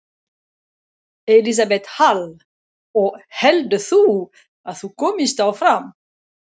Elísabet Hall: Og heldur þú að þú komist áfram?